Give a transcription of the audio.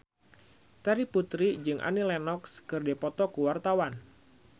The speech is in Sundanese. Terry Putri jeung Annie Lenox keur dipoto ku wartawan